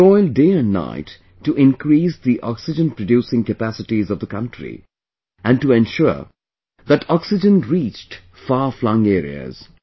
He toiled day and night to increase the Oxygen producing capacities of the country and to ensure that Oxygen reached far flung areas